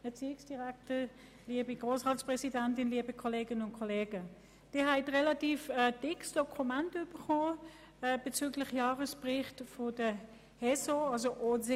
Kommissionssprecherin der BiK.Sie haben ein relativ dickes Dokument erhalten, das den Jahresbericht der HES-SO enthält.